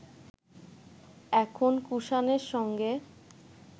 এখন কুষাণের সঙ্গে